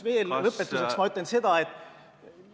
Muuseas, lõpetuseks ütlen ma seda, et ...